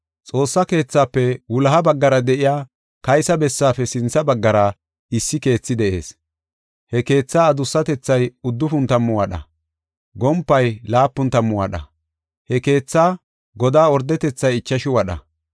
Xoossa keethafe wuloha baggara de7iya kaysa bessaafe sintha baggara issi keethi de7ees. He keethaa adussatethay uddufun tammu wadha; gompay laapun tammu wadha. He keethaa godaa ordetethay ichashu wadha.